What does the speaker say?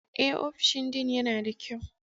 Eh, ofishin Dean yana da kyau.